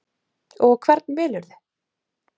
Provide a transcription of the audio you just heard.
Og hvern velurðu?